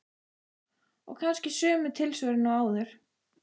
Og kannski sömu tilsvörin og áður.